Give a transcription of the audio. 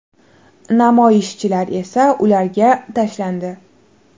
Namoyishchilar esa ularga tashlandi.